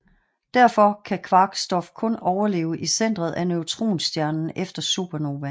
Derfor kan kvark stof kun overleve i centeret af neutronstjernen efter supernovaen